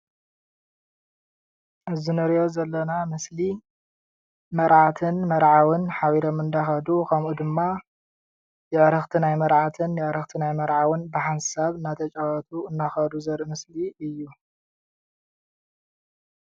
እዚ እንሪኦ ዘለና ምስሊ መርዓትን መርዓውን ሓቢሮም እንዳከዱ ከምኡ ድማ ኣዕርክቲ ናይ መርዓትን ኣዕርክቲ ናይ መርዓውን ብሓንሳብ እናተጫወቱ እናከዱ ዘርኢ ምስሊ እዩ፡፡